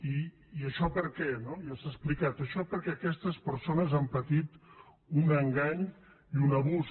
i això per què no ja s’ha explicat això perquè aquestes persones han patit un engany i un abús